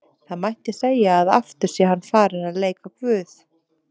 Það mætti segja að aftur sé hann farinn að leika guð.